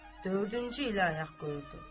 Dördüncü ilə ayaq qoyurdu.